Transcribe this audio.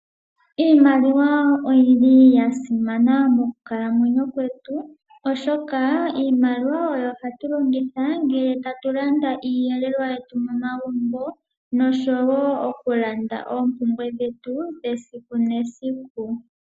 Iimaliwa oyi li ya simana mokukalamwenyo kwetu, oshoka iimaliwa oyo hatu longitha ngele ta tu landa iiyelelwa yetu momagumbo noshowo oku landa oompumbwe dhetu dhesiku nesiku.